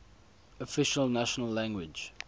official national language